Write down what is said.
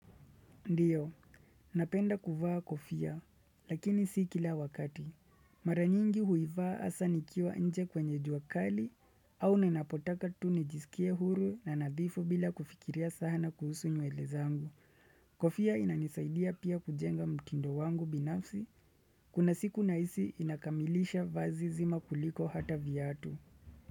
Ndiyo, napenda kuvaa kofia, lakini si kila wakati. Maranyingi huivaa hasa nikiwa nje kwenye juakali au ninapotaka tu nijisikie huru na nadhifu bila kufikiria sahana kuhusu nywele zangu. Kofia inanisaidia pia kujenga mtindo wangu binafsi, kuna siku naisi inakamilisha vazi zima kuliko hata viatu.